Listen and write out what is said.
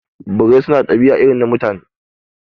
Birai su na ɗabi'a irin na Mutane